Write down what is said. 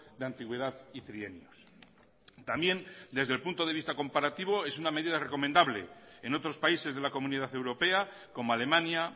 de antigüedad y trienios también desde el punto de vista comparativo es una medida recomendable en otros países de la comunidad europea como alemania